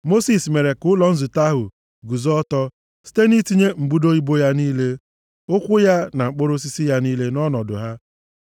Mosis mere ka ụlọ nzute ahụ guzo ọtọ site nʼitinye mbudo ibo ya niile, ụkwụ ya na mkpọrọ osisi ya niile nʼọnọdụ ha.